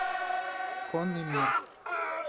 конный мир